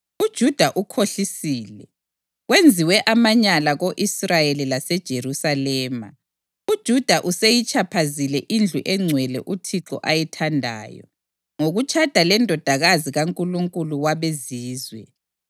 UJuda ukhohlisile. Kwenziwe amanyala ko-Israyeli laseJerusalema: uJuda useyitshaphazile indlu engcwele uThixo ayithandayo, ngokutshada lendodakazi kankulunkulu wabezizwe.